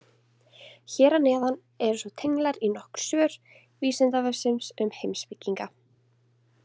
Hér að neðan eru svo tenglar í nokkur svör Vísindavefsins um heimspekinga.